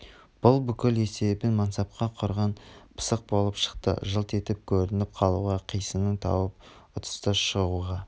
бұл бүкіл есебін мансапқа құрған пысық болып шықты жылт етіп көрініп қалуға қисынын тауып ұтысты шығуға